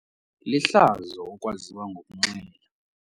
Lihlazo ukwaziwa ngokunxila.